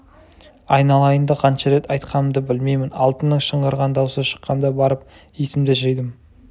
айналайынды қанша рет айтқанымды білмеймін алтынның шыңғырған даусы шыққанда барып есімді жидым